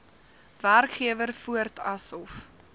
werkgewer voort asof